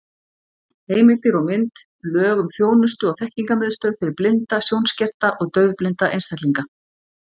Heimildir og mynd: Lög um þjónustu- og þekkingarmiðstöð fyrir blinda, sjónskerta og daufblinda einstaklinga.